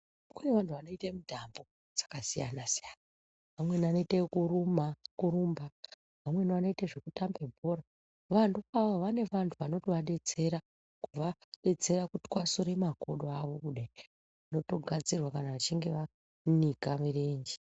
Kune vanhu vanoite mutambo dzakasiyana-siyana. Vamweni vanoite yekurumba vamweni vanoite zvekutambe bhora. Vantu avo vane vantu vanotovadetsera kuvadetsera kuvatwasure makodo avo kudai rotogadzirwa kana vachinge vanika mirenje.